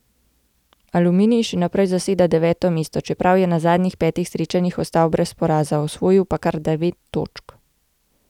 Aluminij še naprej zaseda deveto mesto, čeprav je na zadnjih petih srečanjih ostal brez poraza, osvojil pa kar devet točk.